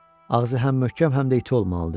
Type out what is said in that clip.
Ağzı həm möhkəm, həm də iti olmalıdır.